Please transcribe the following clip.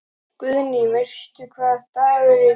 Guðný: Veistu hvaða dagur er í dag?